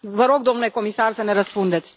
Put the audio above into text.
Vă rog, domnule comisar, să ne răspundeți.